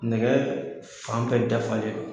Nɛgɛ fan bɛ dafa le do